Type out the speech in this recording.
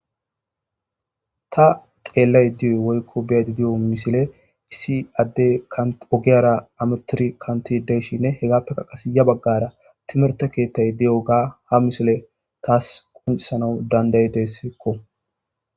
ta xeellay di'o woykko biyadi di'o misile issi adde ogiyara ametiri kantti deyshinne hegappeka qasi ya baggara timerte keettay di'oga ha misile taas qonccisanaw dandayideskko.